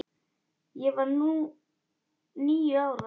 Ég var níu ára.